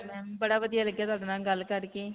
ਸੁਣਾਓ ma'am. ਬੜਾ ਵਧੀਆ ਲੱਗਿਆ ਤੁਹਾਡੇ ਨਾਲ ਗੱਲ ਕਰਕੇ.